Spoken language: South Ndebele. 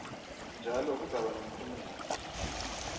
njalo kuzakuba nomphumela